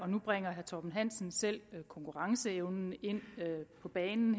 nu bringer herre torben hansen selv konkurrenceevnen på banen